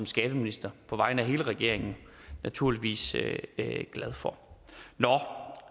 skatteminister på vegne af hele regeringen naturligvis glad for nå